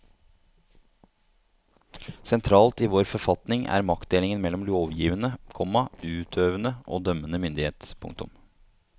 Sentralt i vår forfatning er maktdelingen mellom lovgivende, komma utøvende og dømmende myndighet. punktum